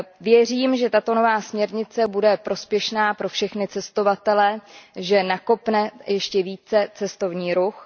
Věřím, že tato nová směrnice bude prospěšná pro všechny cestovatele, že nakopne ještě více cestovní ruch.